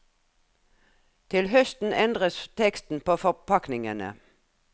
Til høsten endres teksten på forpakningene.